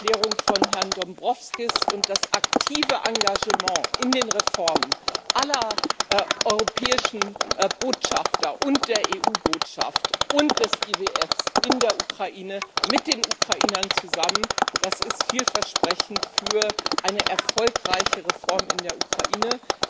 Die Erklärung von Herrn Dombrovskis und das aktive Engagement aller europäischen Botschafter und der EU Botschaft und des IWF für die Reformen in der Ukraine mit den Ukrainern zusammen das ist vielversprechend für eine erfolgreiche Reform in der Ukraine.